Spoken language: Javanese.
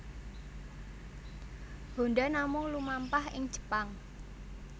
Honda namung lumampah ing Jepang